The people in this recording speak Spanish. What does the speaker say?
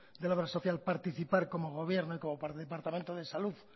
de la obra social participar como gobierno y como departamento de salud